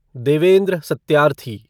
Devendra Satyarthi